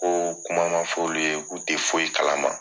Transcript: O kuma ma fɔ olu ye, k' u tɛ foyi kalama